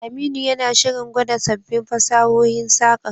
Aminu yana shirin gwada sabbin fasahohin saƙar.